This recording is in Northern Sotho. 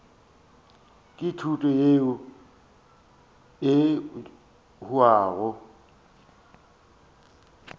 ke thuto yeo e hwago